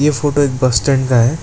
Photo एक bus stand का है।